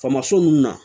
Faamaso ninnu na